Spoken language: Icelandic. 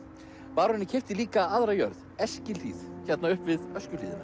baróninn keypti líka aðra jörð Eskihlíð hérna upp við Öskjuhlíðina